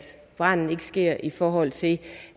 branden ikke sker altså i forhold til